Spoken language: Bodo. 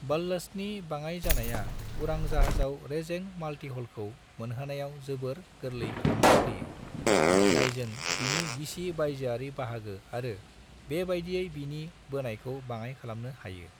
बल्लस्टनि बाङाय जानाया उरां जाहाजाव रेजें माल्टिहलखौ मोनहोनायाव जोबोर गोरलै खालामना होयो. जायजों बिनि गिसि बायजोआरि बाहागो आरो बेबायदियै बिनि बोनायखौ बाङाय खालामनो हायो।